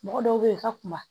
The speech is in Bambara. Mɔgɔ dɔw be yen i ka kuma